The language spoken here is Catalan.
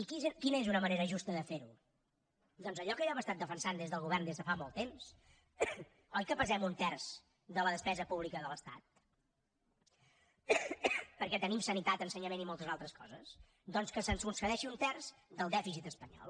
i quina és una manera justa de ferho doncs allò que hem estat defensant des del govern des de fa molt temps oi que pesem un terç de la despesa pública de l’estat perquè tenim sanitat ensenyament i moltes altres coses doncs que se’ns concedeixi un terç del dèficit espanyol